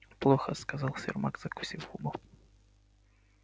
плохо сказал сермак закусив губу